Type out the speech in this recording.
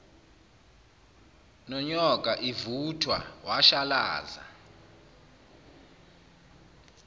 nonyoka ivuthwa washalaza